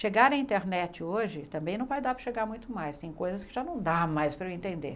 Chegar à internet hoje também não vai dar para chegar muito mais, tem coisas que já não dá mais para eu entender.